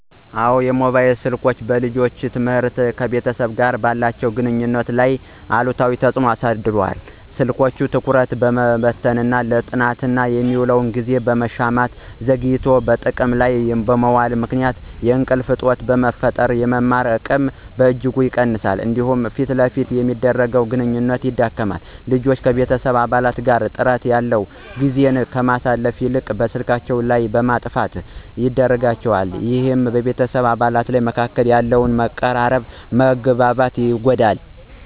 አዎ፣ ሞባይል ስልኮች በልጆች ትምህርትና ከቤተሰብ ጋር ባላቸው ግንኙነት ላይ አሉታዊ ተጽዕኖ አሳድረዋል። ስልኮች ትኩረትን በመበተን፣ ለጥናት የሚውልን ጊዜ በመሻማትና ዘግይቶ ጥቅም ላይ በመዋሉ ምክንያት የእንቅልፍ እጦት በመፍጠር የመማር አቅምን በእጅጉ ይቀንሳሉ። እንዲሁም ፊት ለፊት የሚደረግን ግንኙነት ያዳክማል። ልጆች ከቤተሰብ አባላት ጋር ጥራት ያለው ጊዜን ከማሳለፍ ይልቅ በስልካቸው ዓለም ውስጥ እንዲነጠሉ ያደርጋቸዋል። ይህም በቤተሰብ አባላት መካከል ያለውን መቀራረብና መግባባት ይጎዳል።